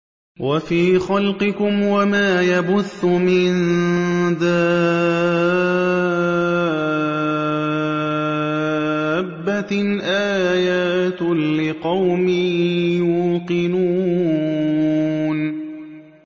وَفِي خَلْقِكُمْ وَمَا يَبُثُّ مِن دَابَّةٍ آيَاتٌ لِّقَوْمٍ يُوقِنُونَ